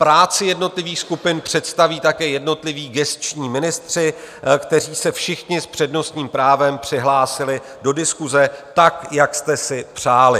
Práci jednotlivých skupin představí také jednotliví gesční ministři, kteří se všichni s přednostním právem přihlásili do diskuse tak, jak jste si přáli.